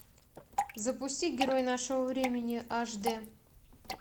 запусти герой нашего времени аш д